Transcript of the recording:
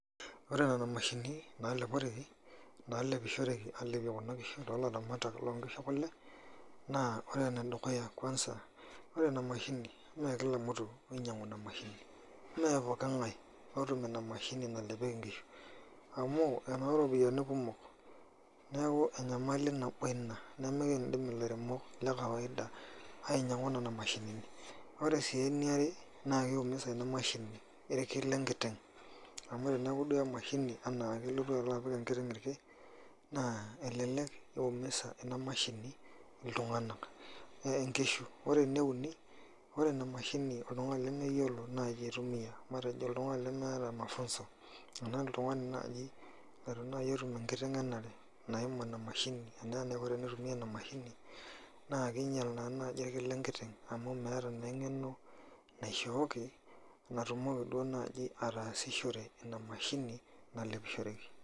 ore nena mashinini naa lepishoreki too ilaramatak loo inkishu ekule, naa ore enedukuya idim aisumie inkera inonok, mee poki ngae otum ina mashini, amu enoo iropiyiani kumok, enyamali nabo ina nimikidim ilaremok lekawaida ainyangu, ore sii enire naa kii musa ilki lenkiteng, elelek imusa iltunganak , naa kingial sii ilkin lenkiteng emashini tenemeyiolo oltungani aitumiya.